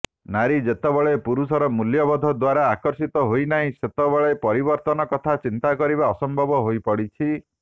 ନାରୀ ଯେତେବେଳେ ପୁରୁଷର ମୂଲ୍ୟବୋଧ ଦ୍ୱାରା ଆକର୍ଷିତ ହୋଇନାହିଁ ସେତେବେଳେ ପରିବର୍ତ୍ତନ କଥା ଚିନ୍ତା କରିବା ଅସମ୍ଭବ ହୋଇପଡ଼ିଛି